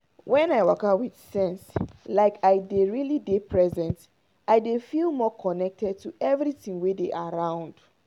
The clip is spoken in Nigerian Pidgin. when i waka with sense like i dey really dey present i dey feel more connected to everything wey dey around.